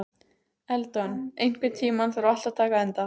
Eldon, einhvern tímann þarf allt að taka enda.